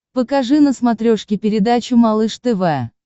покажи на смотрешке передачу малыш тв